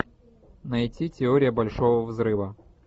найти теория большого взрыва